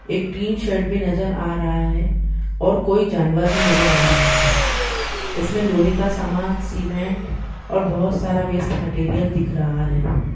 एक tin shed पे नजर आ रहा है और कोइ जानवर भी नजर आ रहा है इसमे लोहैं का समान सीमेन्ट और बहुत सारा वेस्ट मटिरियल दिख रहा है।